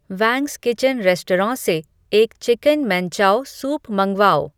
वैंग्स kitchen restaurant से एक chicken manchow soup मँगवाओ